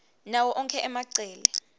nawo onkhe emacele